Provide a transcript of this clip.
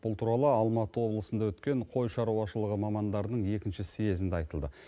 бұл туралы алматы облысында өткен қой шаруашылығы мамандарының екінші съезінде айтылды